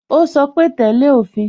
Ó sọ pé "tẹ́lẹ̀ òfin"